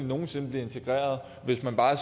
nogen sinde blive integreret hvis man bare